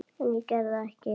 En ég gerði það ekki.